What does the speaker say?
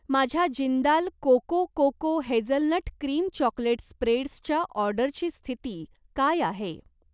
माझ्या Jindal cocoa cocoa hazelnut cream chocolate स्प्रेड्सच्या ऑर्डरची स्थिती काय आहे?